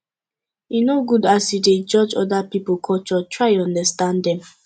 e no good as you dey judge oda pipo culture try understand dem